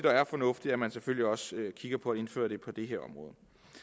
er fornuftigt at man selvfølgelig også kigger på at indføre det på det her område